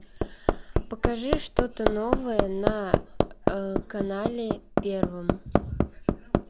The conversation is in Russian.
покажи что то новое на канале первом